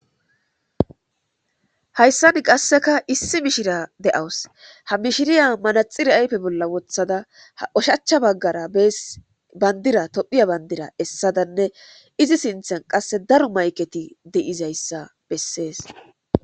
hayssan qasseka issi mishira de7awus ha mishiriya manaxiri ayfe bolla wothada ha ushachcha baggara bandira tophiya bandira essadanne izi sinthan qasse daro mayketi deizayssa bessees